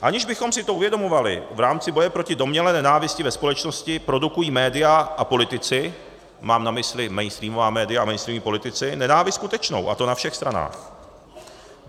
Aniž bychom si to uvědomovali, v rámci boje proti domnělé nenávisti ve společnosti produkují média a politici - mám na mysli mainstreamová média a mainstreamoví politici - nenávist skutečnou, a to na všech stranách.